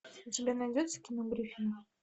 у тебя найдется кино гриффины